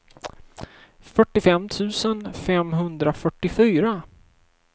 fyrtiofem tusen femhundrafyrtiofyra